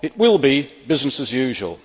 it will be business as usual.